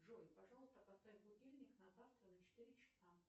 джой пожалуйста поставь будильник на завтра на четыре часа